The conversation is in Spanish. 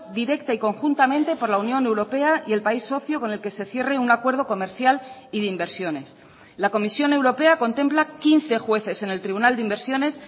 directa y conjuntamente por la unión europea y el país socio con el que se cierre un acuerdo comercial y de inversiones la comisión europea contempla quince jueces en el tribunal de inversiones